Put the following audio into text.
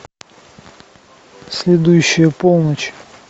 следующая полночь